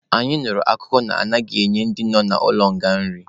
Anyị nụrụ akụkọ na-anaghịkwa enye ndị nọ n'ụlọ nga nri.